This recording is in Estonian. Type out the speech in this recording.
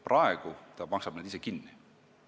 Praegu maksab ta need ise kinni.